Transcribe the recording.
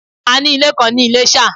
A ní ilè kan ní ilésà